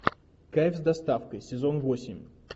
кайф с доставкой сезон восемь